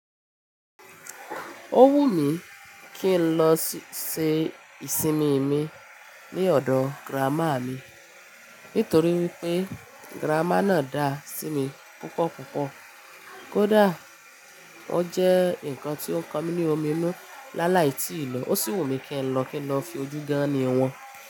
Ó wù mí kí n lọ ṣe ìsinmi mi ní ọ̀dọ̀ girama mi nítorí wípé girama náà dá sí mi púpọ̀ púpọ̀. Kódà ó jẹ́ ǹkan tí ó ń kọ mí ní omi inu lálàí tí ìlò, ó sì wù mí kí n lọ kí n lọ fi ojú gán ni wọn.